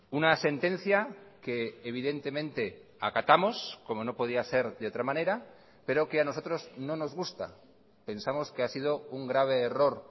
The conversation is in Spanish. una sentencia que evidentemente acatamos como no podía ser de otra manera pero que a nosotros no nos gusta pensamos que ha sido un grave error